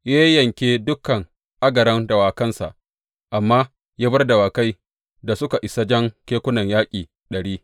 Ya yayyanke dukan agaran dawakansa, amma ya bar dawakai da suka isa jan kekunan yaƙi ɗari.